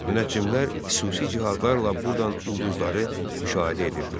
Münəccimlər xüsusi cihazlarla burdan ulduzları müşahidə edirdilər.